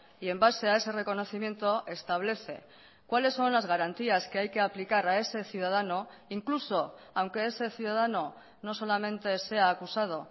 y en base a ese reconocimiento establece cuáles son las garantías que hay que aplicar a ese ciudadano incluso aunque ese ciudadano no solamente sea acusado